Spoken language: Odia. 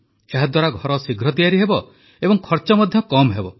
ଏହାଦ୍ୱାରା ଘର ଶୀଘ୍ର ତିଆରି ହେବ ଏବଂ ଖର୍ଚ୍ଚ ମଧ୍ୟ କମ୍ ହେବ